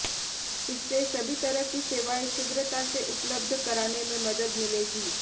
इससे सभी तरह की सेवाएं शीघ्रता से उपलब्ध कराने में मदद मिलेगी